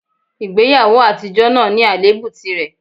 Ìgbéyàwó àtijọ́ náà ní àléébù tìrẹ